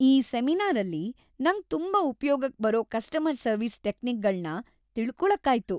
ಈ ಸೆಮಿನಾರಲ್ಲಿ ನಂಗ್‌ ತುಂಬಾ ಉಪ್ಯೋಗಕ್‌ ಬರೋ ಕಸ್ಟಮರ್‌ ಸರ್ವಿಸ್ ಟೆಕ್ನಿಕ್‌ಗಳ್ನ ತಿಳ್ಕೊಳಕ್ಕಾಯ್ತು.